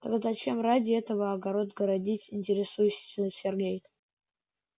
тогда зачем ради этого огород городить интересуется сергей